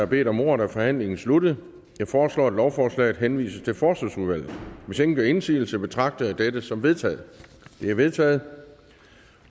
bedt om ordet er forhandlingen sluttet jeg foreslår at lovforslaget henvises til forsvarsudvalget hvis ingen gør indsigelse betragter jeg dette som vedtaget vedtaget